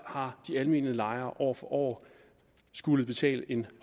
har de almene lejere år for år skullet betale en